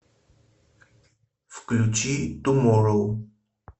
включи туморроу